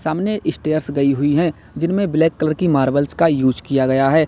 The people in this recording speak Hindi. सामने स्टेयर्स गई हुई हैं जिनमें ब्लैक कलर की मार्बल्स का यूज किया गया है।